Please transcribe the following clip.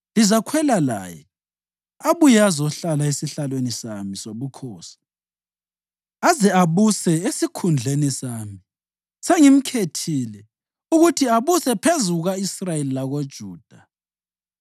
Lizakhwela laye, abuye azohlala esihlalweni sami sobukhosi aze abuse esikhundleni sami. Sengimkhethile ukuthi abuse phezu kuka-Israyeli lakoJuda.”